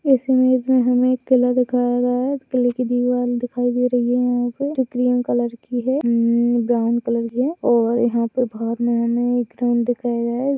इस इमेज में हमें एक किला दिखाया गया है। किले की दीवार दिखाई दे रही है यहाँ पे जो क्रीम कलर की है उम्म ब्राउन कलर है और यहाँ पे बाहर में हमे एक ग्राउन्ड दिखाया गया है।